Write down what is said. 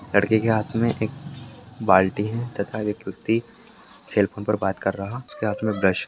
लड़के के हाथ में एक बाल्टी है तथा एक व्यक्ति सेल फोन पर बात कर रहा उसके हाथ में ब्रश --